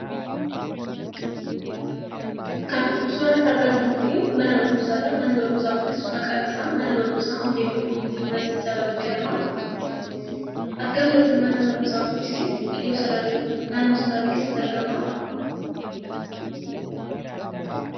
Kan suuraa irratti argaa jirru kun mana barumsaa dha. Manni barumsaa kunis maqaan isaa mana barumsaa Moodeelii Kominiitii Yuunivarsiitii Salaalee jedhama. Argamni mana barumsaa kunis iddoo Salaalee naannoo Salaalee keessatti argama.